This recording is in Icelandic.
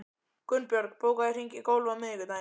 Gunnbjörg, bókaðu hring í golf á miðvikudaginn.